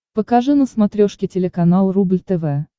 покажи на смотрешке телеканал рубль тв